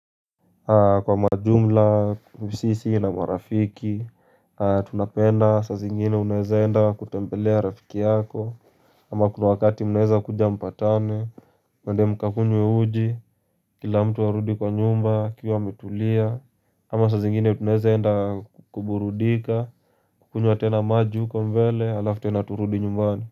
Kwa majumla sisi na marafiki tunapenda saa zingine uneze enda kutembelea rafiki yako ama kuna wakati mnaweza kuja mpatane muende mkakunywe uji kila mtu arudi kwa nyumba akiwa ametulia ama saa zingine tunaweze enda kukuburudika kukunywa tena maji huko mbele alafu tena turudi nyumbani.